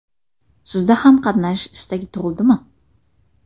Sizda ham qatnashish istagi tug‘ildimi?